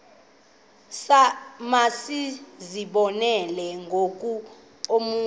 masizibonelele ngoku okanye